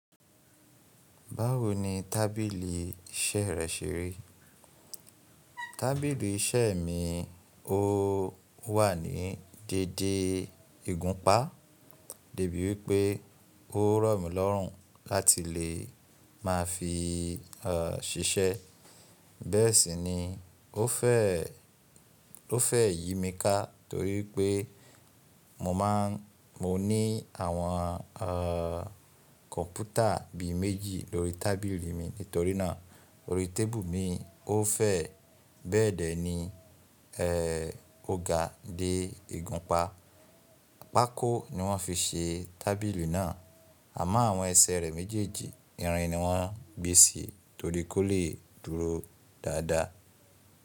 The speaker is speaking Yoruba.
Báwo ni tábìlì iṣẹ́ rẹ ṣe rí? Tábìlì iṣẹ́ mi ò wà ní dède ìgúnpá, dèbí wípé ó rọ̀mílọ́rùn láti lè má fi ṣiṣẹ́. Bẹ́ẹ̀ sì ni ó fẹ̀ yí mi ká torí pé mo ní àwọn kọ̀ǹpútà bi méjì lórí tábìlì mi nítorínà orí tébù mi. Ó fẹ̀, bẹ́ẹ̀dẹ̀ ni o ga dé ìgúnpá. Pákó ni wọ́n fi ṣe tábìlì náà, àmọ́ àwọn ẹsẹ̀ rẹ̀ méjèèjì, irin ni wọ́n gbé sí torí kó lè dúró dáadáa.